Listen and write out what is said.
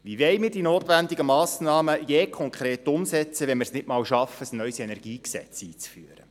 Wie wollen wir die notwendigen Massnahmen jemals konkret umsetzen, wenn wir es nicht einmal schaffen, ein neues Energiegesetz einzuführen?